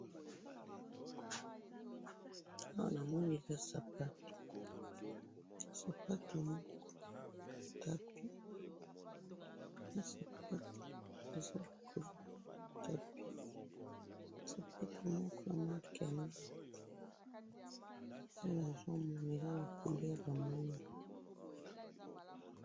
Awa na moni lokolo ya sapato moko likolo ya tapis.